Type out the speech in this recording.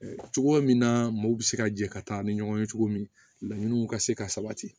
Cogoya min na mɔw bɛ se ka jɛ ka taa ni ɲɔgɔn ye cogo min la laɲiniw ka se ka sabati